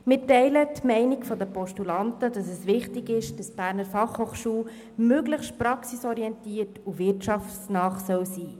Wie die Postulanten sind wir der Meinung, dass es wichtig ist, dass die BFH möglichst praxisorientiert und wirtschaftsnah ist.